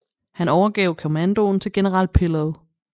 Han overgav kommandoen til general Pillow